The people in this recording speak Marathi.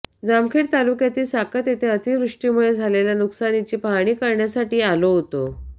जामखेड तालुक्यातील साकत येथे अतिवृष्टीमुळे झालेल्या नुकसानीची पाहणी करण्यासाठी आलो होतो